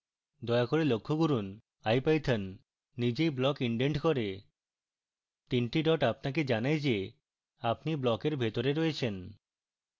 দয়া করে লক্ষ্য করুন ipython নিজেই block indents করে